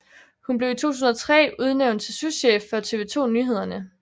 Hun blev i 2003 udnævnt til souschef for TV 2 Nyhederne